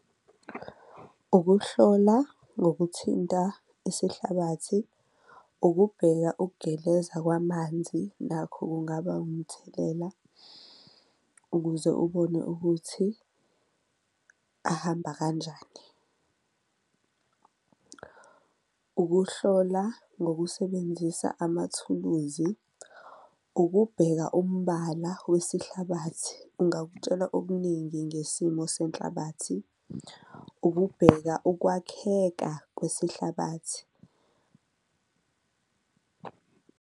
Ukuhlola ngokuthinta isihlabathi, kubheka ukugeleza kwamanzi nakho kungaba umthelela ukuze ubone ukuthi ahamba kanjani, ukuhlola ngokusebenzisa amathuluzi, ukubheka umbala wesihlabathi kungakutshela okuningi ngesimo senhlabathi. Ukubheka ukwakheka kwesihlathi.